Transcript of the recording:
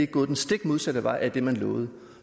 gået den stik modsatte vej af det man lovede